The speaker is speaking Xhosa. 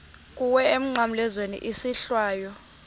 kuwe emnqamlezweni isohlwayo